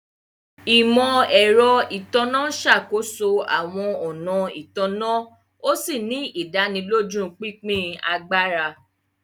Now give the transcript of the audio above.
Imọ-ẹrọ Itanna n ṣakoso awọn ọna ìtanná, òsì ni ìdánilójú pínpín àgbàrá